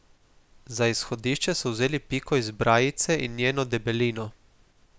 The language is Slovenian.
Za izhodišče so vzeli piko iz brajice in njeno debelino.